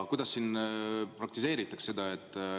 Kuidas siin praktiseeritakse seda?